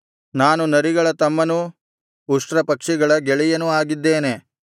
ನಾನು ನರಿಗಳ ತಮ್ಮನೂ ಉಷ್ಟ್ರಪಕ್ಷಿಗಳ ಗೆಳೆಯನೂ ಆಗಿದ್ದೇನೆ